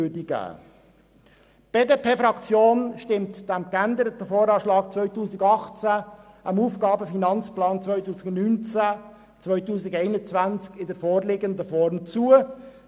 Die BDP-Fraktion stimmt diesem geänderten VA 2018 und dem AFP 2019–2021 in der vorliegenden Form zu.